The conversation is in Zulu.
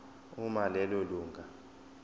uma lelo lunga